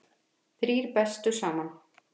Þrír bestu saman